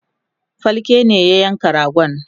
falke ne ya yanka ragon